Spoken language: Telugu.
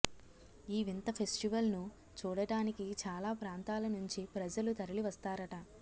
ఈ వింత ఫెస్టివల్ ను చూడటానికి చాలా ప్రాంతాల నుంచి ప్రజలు తరలి వస్తారట